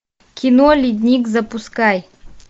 кино ледник запускай